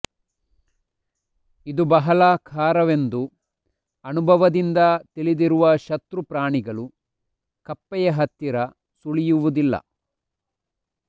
ಇದು ಬಹಳ ಖಾರವೆಂದು ಅನುಭವದಿಂದ ತಿಳಿದಿರುವ ಶತ್ರು ಪ್ರಾಣಿಗಳು ಕಪ್ಪೆಯ ಹತ್ತಿರ ಸುಳಿಯುವುದಿಲ್ಲ